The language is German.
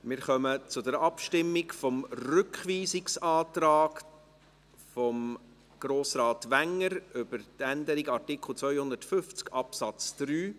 Wir kommen zur Abstimmung über den Rückweisungsantrag von Grossrat Wenger betreffend die Änderung von Artikel 250 Absatz 3.